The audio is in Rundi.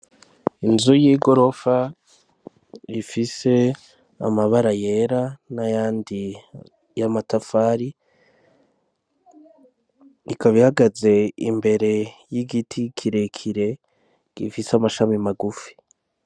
Inzu y'igorofa ifise amabara yera n'ayandi y'amatafari. Ikaba ihagaze imbere y'igiti kirekire gifise amashami magufi.